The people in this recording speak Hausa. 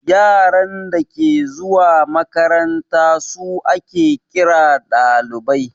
Yaran dake zuwa makaranta su ake ƙira ɗalibai